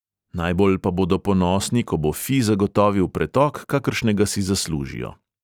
Najbolj pa bodo ponosni, ko bo fi zagotovil pretok, kakršnega si zaslužijo.